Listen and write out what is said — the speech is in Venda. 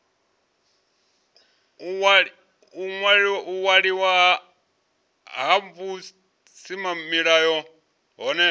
u waliwa ha vhusimamilayo hohe